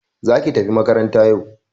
Za ki tafi makaranta yau!